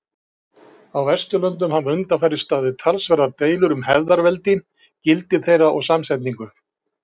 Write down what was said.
Á Vesturlöndum hafa undanfarið staðið talsverðar deilur um hefðarveldi, gildi þeirra og samsetningu.